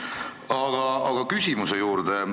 Aga nüüd küsimuse juurde.